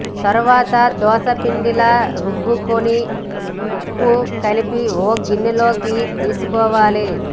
తరవాత దోశపిండిలా రుబ్బుకుని ఉప్పు కలిపి ఓ గిన్నెలోకి తీసుకోవాలి